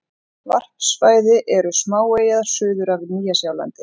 Varpsvæði eru smáeyjar suður af Nýja-Sjálandi.